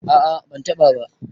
a a bantaba ba